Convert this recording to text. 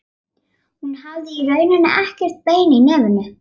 Hún hafði í rauninni ekkert bein í nefinu.